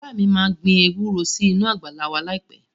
Bàbá mi máa gbin ewúro sínú àgbàlá wa láìpẹ́